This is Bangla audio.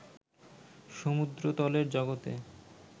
সমুদ্রতলের জগতে